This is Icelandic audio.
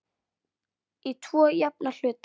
Í tvo jafna hluta.